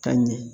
Ka ɲɛ